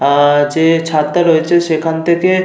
আহ যে ছাদটা রয়েছে সেখান থেকে --